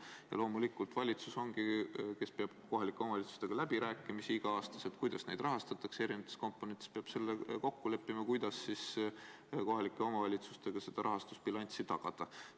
Ja loomulikult valitsus, kes peab kohalike omavalitsustega igal aastal läbirääkimisi, kuidas neid erinevate komponentide puhul rahastatakse, peab kokku leppima, kuidas kohalike omavalitsustega see rahastus tagada.